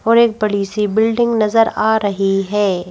और एक बड़ी सी बिल्डिंग नजर आ रही है।